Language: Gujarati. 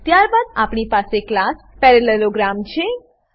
ત્યારબાદ આપણી પાસે ક્લાસ પેરાલેલોગ્રામ પેરેલેલોગ્રામ છે